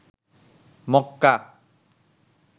মককা